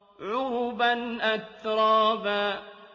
عُرُبًا أَتْرَابًا